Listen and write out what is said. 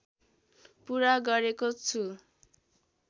पुरा गरेको छु